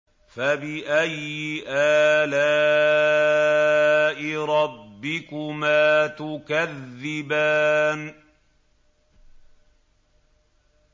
فَبِأَيِّ آلَاءِ رَبِّكُمَا تُكَذِّبَانِ